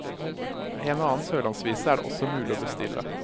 En og annen sørlandsvise er det også mulig å bestille.